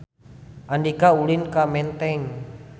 Andika ulin ka Menteng